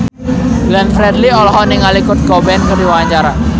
Glenn Fredly olohok ningali Kurt Cobain keur diwawancara